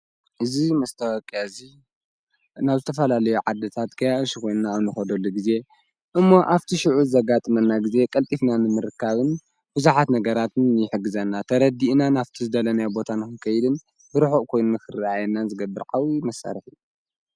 እዙ መስተወቅያ እዙ ናብልተፈላለዮ ዓድታት ከያ ሽኾንና ኣብ ን ኾዶሉ ጊዜ እሞ ኣብቲ ሽዑ ዝዘጋጥመና ጊዜ ቐልጢፍናንምርካብን ብዙኃት ነገራትን ይሕግዘና ተረዲእና ናፍቲ ዝደለነያ ቦታን ኽከይድን ብርኁቕ ኮይኑም ኽሪኣየናን ዝገብርዓዊ መሣርሕ እዩ።